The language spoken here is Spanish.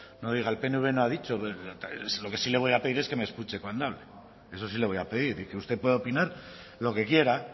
no diga el pnv no ha dicho lo que sí le voy a pedir es que me escuche cuando hablo eso sí le voy a pedir y que usted puede opinar lo que quiera